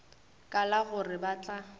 ka la gore ba tla